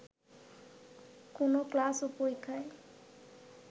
কোনো ক্লাস ও পরীক্ষায়